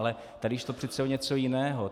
Ale tady šlo přece o něco jiného.